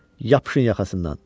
Yapışın yaxasından!